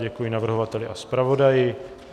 Děkuji navrhovateli a zpravodaji.